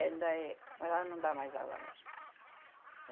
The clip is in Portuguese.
Ela ainda é. Mas ela não dá mais aula mais.